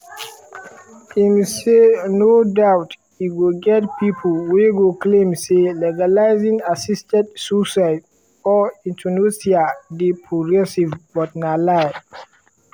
im say: “no doubt e go get pipo wey go claim say legalising assisted suicide or euthanasia dey progressive but na lie